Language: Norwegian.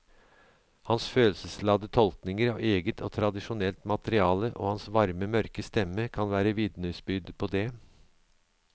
Hans følelsesladde tolkninger av eget og tradisjonelt materiale og hans varme mørke stemme kan være vitnesbyrd på det.